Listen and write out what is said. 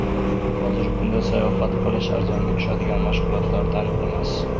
Hozirgi kunda sayohat qilish arzonga tushadigan mashg‘ulotlardan emas.